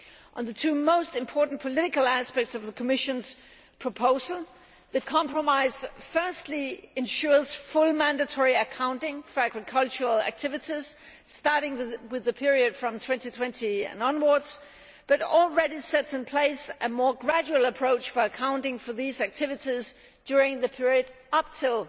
On the two most important political aspects of the Commission's proposal, the compromise firstly ensures full mandatory accounting for agricultural activities, starting with the period from 2020 onwards, but already sets in place a more gradual approach for accounting for these activities during the period up to